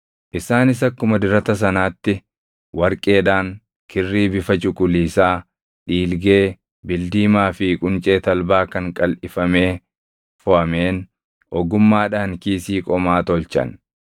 Isaanis akkuma dirata sanaatti warqeedhaan, kirrii bifa cuquliisaa, dhiilgee, bildiimaa fi quncee talbaa kan qalʼifamee foʼameen ogummaadhaan kiisii qomaa tolchan.